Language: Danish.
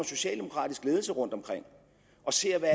socialdemokratisk ledelse rundtomkring og ser hvad